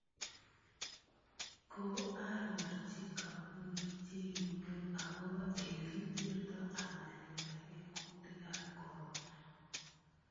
Koaroorchi koombunit chekimweu akobo ele kiterto amaletagee kuutikaab corona